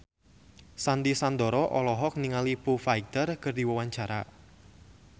Sandy Sandoro olohok ningali Foo Fighter keur diwawancara